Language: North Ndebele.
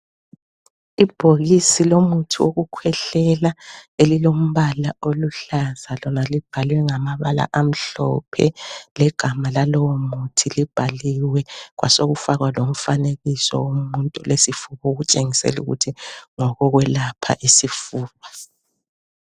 Ibhokisi lomuthi wokukhwehlela elilombala oluhlaza Lona libhalwe ngamabala amhlophe legama lalowomuthi libhaliwe. Kwasekufaka lomfanekiso wesifuba okutshengisa ukuthi ngumuthi wokwelapha isifuba.